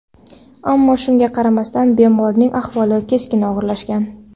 Ammo shunga qaramasdan bemorning ahvoli keskin og‘irlashgan.